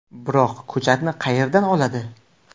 Biroq ko‘chatni qayerdan oladi?